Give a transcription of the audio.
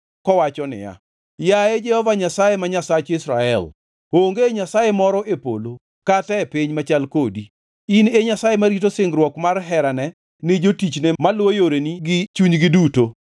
Kowacho niya, “Yaye Jehova Nyasaye ma Nyasach Israel, onge Nyasaye moro e polo kata e piny machal kodi. In e Nyasaye marito singruok mar herane ni jotichne maluwo yoreni gi chunygi duto.